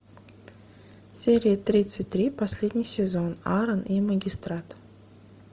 серия тридцать три последний сезон аран и магистрат